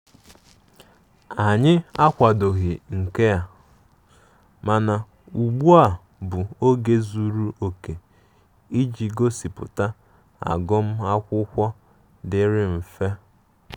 Anyi akwadoghi nke a, mana ụgbụ bụ oge zụrụ oke iji gosiputa agum akwụkwo diri mfe.